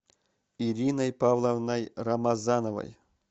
ириной павловной рамазановой